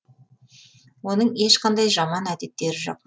оның ешқандай жаман әдеттері жоқ